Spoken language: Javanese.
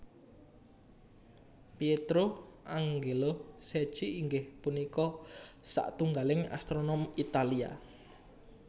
Pietro Angelo Secchi inggih punika satunggiling astronom Italia